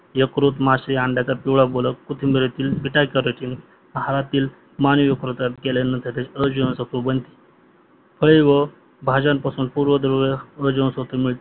यकृत मासे अंडयाचे पिवडा बलक कोथिंबीरीती आहारातील मानवी यकृतवात गेल्याने त्याचे अ जीवांसत्व बनते फळे व भाज्यांपासून पूर्वद्रव अ जीवनसत्वे मिळते